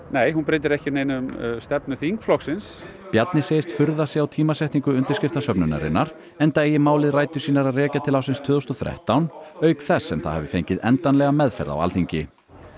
nei hún breytir ekki neinu um stefnu þingflokksins Bjarni segist furða sig á tímasetningu undirskriftasöfnunarinnar enda eigi málið rætur sínar að rekja til ársins tvö þúsund og þrettán auk þess sem það hafi fengið endanlega meðferð á Alþingi